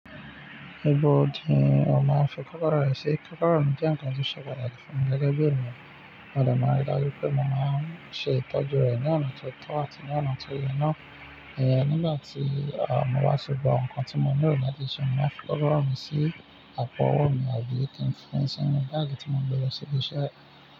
Ibo ní ọ máa ń fi kọ́kọ́rọ́ ẹ sí? Kọ́kọ́rọ́ mi jẹ́ ǹkan tó ṣe pàtàkì fún mi gẹ́gẹ́ bí ènìyàn. Mo dẹ̀ màá ń rí i dájú pé mo máa ń ṣe ìtọ́jú rẹ̀ ní ọ̀nà tó tọ́ àti ní ọ̀nà tó yẹ ná. Nígbà tí, mo bá ti gba ǹkan tí mo ní lò láti ṣe, mo máa fi kọ́kọ́rọ́ mi sí àpò ọwọ́ mi àbí kí n fi sínú báàgì tí mo ń gbé lọ sí ibi iṣẹ́.